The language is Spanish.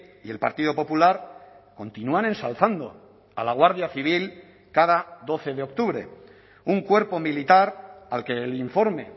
y el partido popular continúan ensalzando a la guardia civil cada doce de octubre un cuerpo militar al que el informe